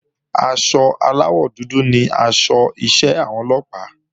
Aṣọ aláwọ̀ dúdú ni aṣọ iṣẹ́ àwọn Ọlọ́pàá